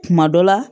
Kuma dɔ la